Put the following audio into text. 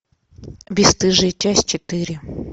бесстыжие часть четыре